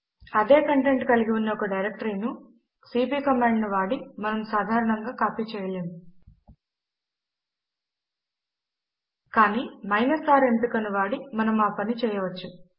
అదే కంటెంట్ కలిగి ఉన్న ఒక డైరెక్టరీను సీపీ కమాండ్ ను వాడి మనము సాధారణముగా కాపీ చేయలేము కానీ R ఎంపిక ను వాడి మనము ఆ పని చేయవచ్చు